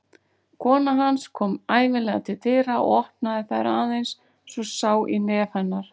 Kona hans kom ævinlega til dyra og opnaði þær aðeins svo sá í nef hennar.